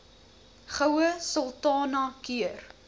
goue sultana keur